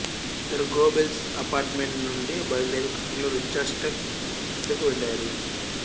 ఇద్దరూ Goebbels apartment నుండి బయలుదేరి కారులో రీచ్స్టాగ్ వద్దకు వెళ్ళారు